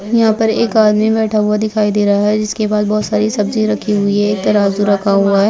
यहाँ पर एक आदमी बैठ हुआ दिखाई दे रहा है जिसके पास बहुत सारी सब्जी रखी हुई हैं एक तराजू रखा हुआ है।